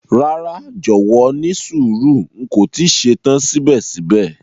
Rara, jọwọ nísùúrù, n ko ti ṣetan sibẹ̀sibẹ̀.